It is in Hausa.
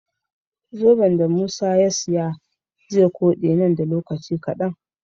Zoben da musa ya siya ze kode nan da lokaci kadan